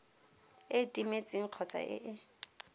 e timetseng kgotsa e e